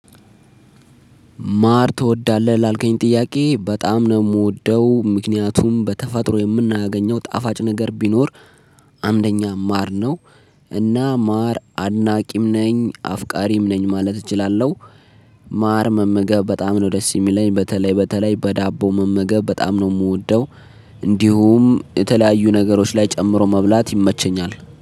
ማር ትወዳለህ ላልከኝ ጥያቄ በጣም ነው የምወደው ምክንያቱም በተፈጥሮ የምናገኘው ጣፋጭ ነገር ቢኖር አንደኛ ማር ነው እና ማር አድናቂም ነኝ አፍቃሪም ነኝ ማለት እችላለሁ። ማር መመገብ በጣም ነው ደስ የሚለኝ በተለይ በተለይ በዳቦ መመገብ በጣም ነው ምወደው። እንዲሁም የተለያዩ ነገሮች ላይ ጨምሮ መብላት ይመቸኛል